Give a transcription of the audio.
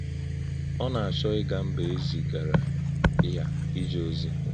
Ọ́ nā-āchọ̀ ígà mbà è zị́gàrà yá íjè̄ ọ̀zì̄.